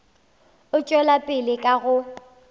a tšwela pele ka go